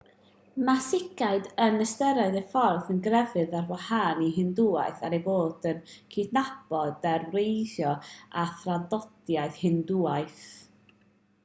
mae sikhiaid yn ystyried eu ffydd yn grefydd ar wahân i hindŵaeth er eu bod yn cydnabod ei wreiddiau a thraddodiadau hindŵaidd